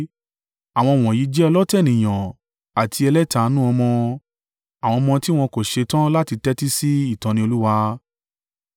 Àwọn wọ̀nyí jẹ́ ọlọ̀tẹ̀ ènìyàn àti ẹlẹ́tanu ọmọ, àwọn ọmọ tí wọn kò ṣetán láti tẹ́tí sí ìtọ́ni Olúwa.